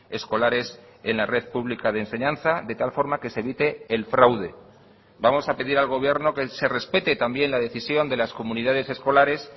escolares en la red pública de enseñanza de tal forma que se evite el fraude vamos a pedir al gobierno que se respete también la decisión de las comunidades escolares